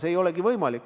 See ei olegi võimalik.